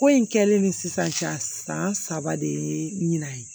Ko in kɛlen ni sisan cɛ san saba de ye ɲina ye